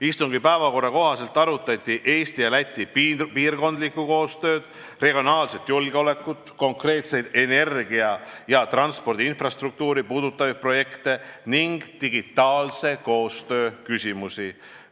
Istungi päevakorra kohaselt arutati Eesti ja Läti piirkondlikku koostööd, regionaalset julgeolekut, konkreetseid energia- ja transpordiinfrastruktuuri puudutavaid projekte ning digitaalse koostöö küsimusi.